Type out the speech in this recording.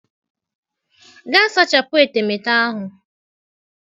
Gaa sachapụ etemeete ahụ!